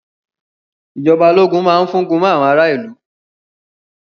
Ìjọba ológun máa fúngun mọ àwọn ará ìlú.